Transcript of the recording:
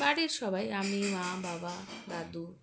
বাড়ির সবাই আমি মা বাবা দাদু